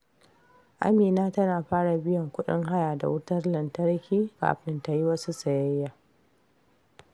Amina tana fara biyan kudin haya da wutar lantarki kafin ta yi wasu sayayya.